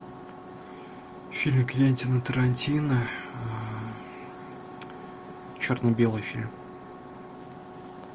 фильм квентина тарантино черно белый фильм